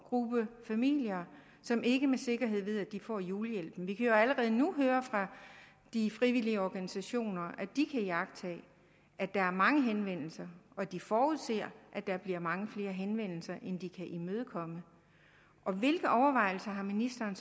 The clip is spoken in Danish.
gruppe familier som ikke med sikkerhed ved at de får julehjælp vi kan jo allerede nu høre fra de frivillige organisationer at de kan iagttage at der er mange henvendelser og at de forudser at der bliver mange flere henvendelser end de kan imødekomme hvilke overvejelser har ministeren